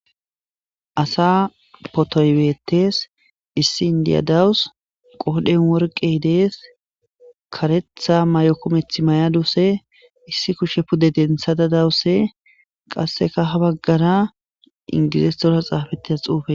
Asa potoybeetes issi indiyadawus qoodhen worqe dees karetha may'okometh may'aduse issi kushe pude dentha da dawuse qasseka ha baggara ingizistora xaafetias xuufe.